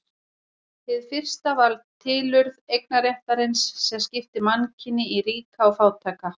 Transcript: Hið fyrsta var tilurð eignarréttarins sem skipti mannkyni í ríka og fátæka.